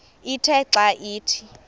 ithe xa ithi